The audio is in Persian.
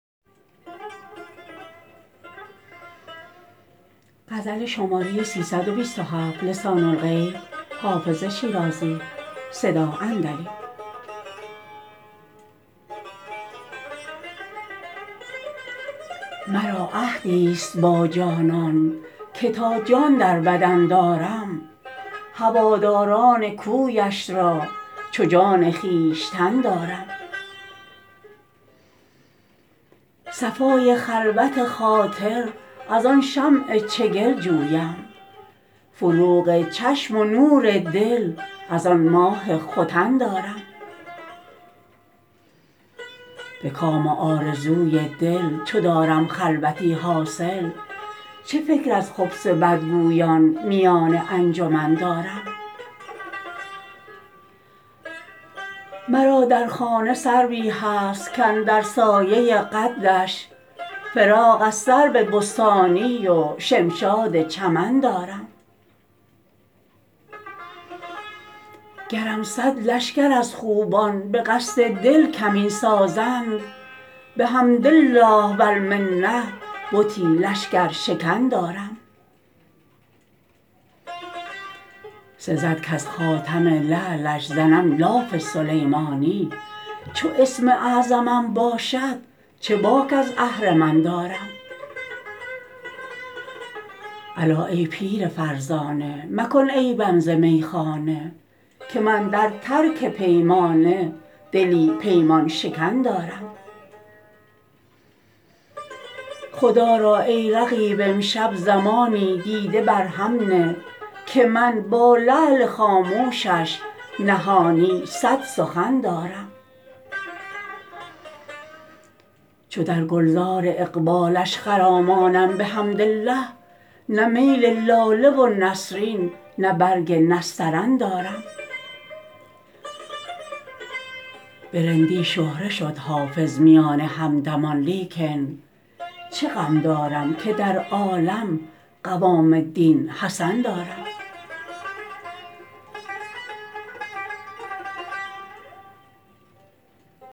مرا عهدی ست با جانان که تا جان در بدن دارم هواداران کویش را چو جان خویشتن دارم صفای خلوت خاطر از آن شمع چگل جویم فروغ چشم و نور دل از آن ماه ختن دارم به کام و آرزوی دل چو دارم خلوتی حاصل چه فکر از خبث بدگویان میان انجمن دارم مرا در خانه سروی هست کاندر سایه قدش فراغ از سرو بستانی و شمشاد چمن دارم گرم صد لشکر از خوبان به قصد دل کمین سازند بحمد الله و المنه بتی لشکرشکن دارم سزد کز خاتم لعلش زنم لاف سلیمانی چو اسم اعظمم باشد چه باک از اهرمن دارم الا ای پیر فرزانه مکن عیبم ز میخانه که من در ترک پیمانه دلی پیمان شکن دارم خدا را ای رقیب امشب زمانی دیده بر هم نه که من با لعل خاموشش نهانی صد سخن دارم چو در گل زار اقبالش خرامانم بحمدالله نه میل لاله و نسرین نه برگ نسترن دارم به رندی شهره شد حافظ میان همدمان لیکن چه غم دارم که در عالم قوام الدین حسن دارم